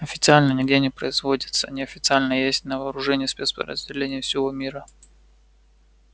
официально нигде не производится неофициально есть на вооружении спецподразделений всего мира